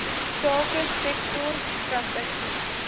sake sektor strategie